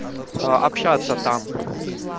общаться там